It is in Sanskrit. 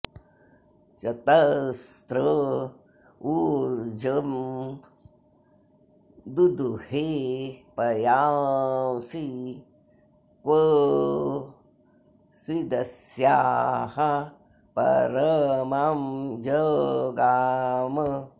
चत॑स्र॒ ऊर्जं॑ दुदुहे॒ पयां॑सि॒ क्व॑ स्विदस्याः पर॒मं ज॑गाम